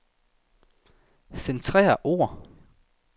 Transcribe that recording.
Centrer ord.